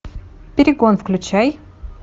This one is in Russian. перегон включай